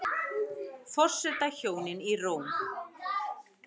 Forsetahjónin í Róm